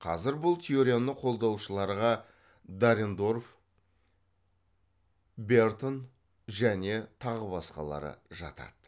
қазір бұл теорияны қолдаушыларға дарендорф бертон және тағы басқалары жатады